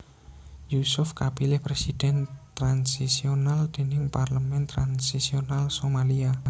Yusuf kapilih Presiden transisional déning parlemen transisional Somalia